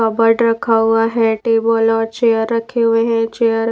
cupboard रखा हुआ है टेबल और चेयर रखे हुए हैं चेयर --